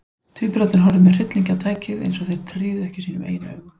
Tvíburarnir horfðu með hryllingi á tækið, eins og þeir tryðu ekki sínum eigin augum.